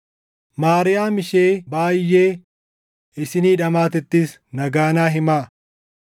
Maariyaam ishee baayʼee isinii dhamaatettis nagaa naa himaa.